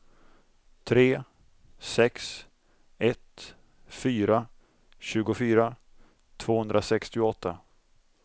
tre sex ett fyra tjugofyra tvåhundrasextioåtta